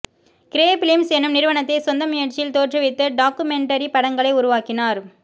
grey Films என்னும் நிறுவனத்தை சொந்த முயற்சியில் தோற்றுவித்து டாக்குமெண்டரி படங்களை உருவாக்கினார்